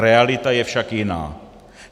Realita je však jiná.